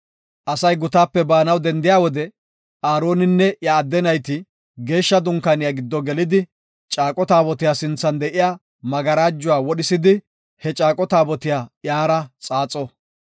“Asay gutaape baanaw dendiya wode Aaroninne iya adde nayti Geeshsha Dunkaaniya giddo gelidi, Caaqo Taabotiya sinthan de7iya magarajuwa wodhisidi he Caaqo Taabotiya iyara xaaxo.